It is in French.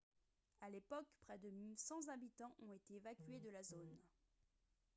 à l'époque près de 100 habitants ont été évacués de la zone